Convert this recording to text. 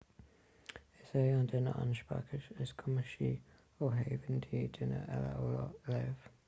is é an duine an speiceas is cumasaí ó thaobh intinn duine eile a léamh